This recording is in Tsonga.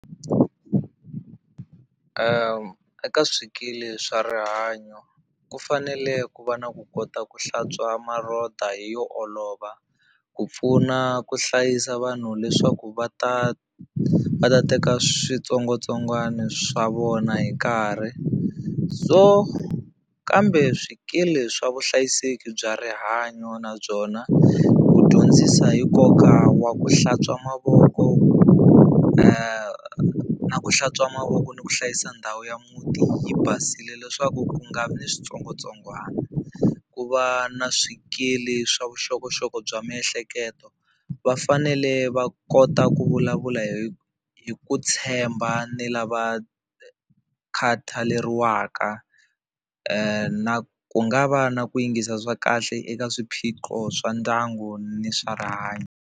Eka swikili swa rihanyo ku fanele ku va na ku kota ku hlantswa hi yo olova ku pfuna ku hlayisa vanhu leswaku va ta va ta teka switsongwatsongwani swa vona hi nkarhi so kambe swikili swa vuhlayiseki bya rihanyo na byona ku dyondzisa hi nkoka wa ku hlantswa mavoko na ku hlantswa mavoko ni ku hlayisa ndhawu ya muti yi basile leswaku ku nga vi ni switsongwatsongwana ku va na swikili swa vuxokoxoko bya miehleketo va fanele va kota ku vulavula hi hi ku tshemba ni lava khataleriwa ku nga va na ku yingisa swa kahle eka swiphiqo swa ndyangu ni swa rihanyo.